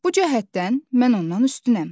Bu cəhətdən mən ondan üstünəm.